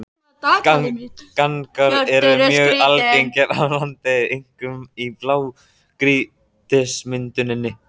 Gangar eru mjög algengir hér á landi, einkum í blágrýtismynduninni.